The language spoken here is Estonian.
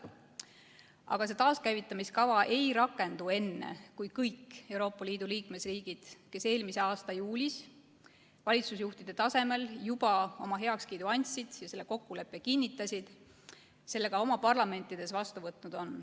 Aga see taaskäivitamiskava ei rakendu enne, kui kõik Euroopa Liidu liikmesriigid, kes eelmise aasta juulis valitsusjuhtide tasemel juba oma heakskiidu andsid ja selle kokkuleppe kinnitasid, on selle ka oma parlamendis vastu võtnud.